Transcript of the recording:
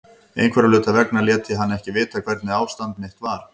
Einhverra hluta vegna lét ég hann ekki vita hvernig ástand mitt var.